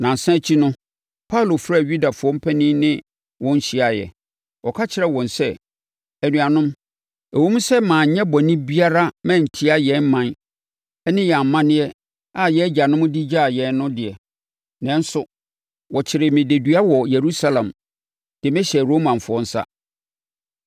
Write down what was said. Nnansa akyi no, Paulo frɛɛ Yudafoɔ mpanin ne wɔn hyiaeɛ. Ɔka kyerɛɛ wɔn sɛ, “Anuanom, ɛwom sɛ manyɛ bɔne biara mantia yɛn ɔman ne yɛn amanneɛ a yɛn agyanom de gyaa yɛn no de, nanso wɔkyeree me dedua wɔ Yerusalem de me hyɛɛ Romafoɔ nsa.